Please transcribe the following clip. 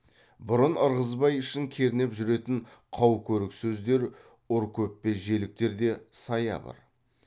бұрын ырғызбай ішін кернеп жүретін қау көрік сөздер ұр көппе желіктер де саябыр